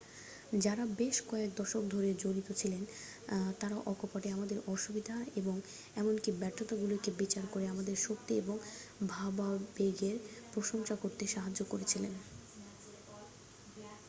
যারা বেশ কয়েক দশক ধরে জড়িত ছিলেন তারা অকপটে আমাদের অসুবিধা এবং এমনকি ব্যর্থতাগুলিকে বিচার করে আমাদের শক্তি এবং ভাবাবেগের প্রশংসা করতে সাহায্য করেছিলেন